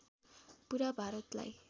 पुरा भारतलाई